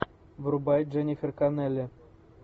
врубай дженнифер коннелли